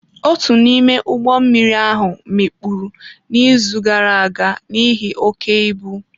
Otu n'ime ụgbọ mmiri ahụ mikpuru n'izu gara aga n'ihi oke ibu.